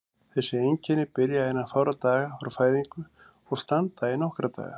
Þessi einkenni byrja innan fárra daga frá fæðingu og standa í nokkra daga.